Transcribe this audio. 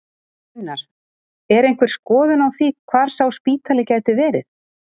Gunnar: Er einhver skoðun á því hvar sá spítali gæti verið?